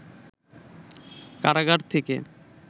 কারাগার থেকে